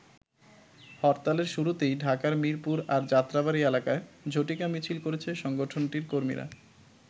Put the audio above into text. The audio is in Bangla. হরতালের শুরুতেই ঢাকার মিরপুর আর যাত্রাবাড়ী এলাকায় ঝটিকা মিছিল করেছে সংগঠনটির কর্মীরা।